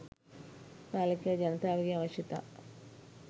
පාලකයා ජනතාවගේ අවශ්‍යතා